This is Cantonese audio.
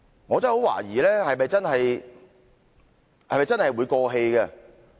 我真的很懷疑是否真的會過氣？